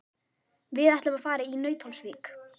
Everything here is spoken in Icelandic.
Við ætlum að fara í Nauthólsvík.